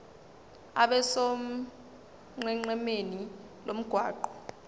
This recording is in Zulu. abe sonqenqemeni lomgwaqo